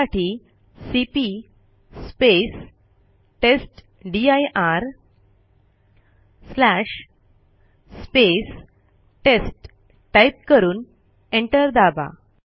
त्यासाठी सीपी टेस्टदीर test type करून एंटर दाबा